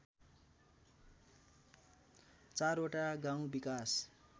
चारवटा गाउँ विकास